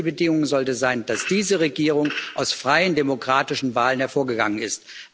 Die einzige Bedingung sollte sein, dass diese Regierung aus freien, demokratischen Wahlen hervorgegangen ist.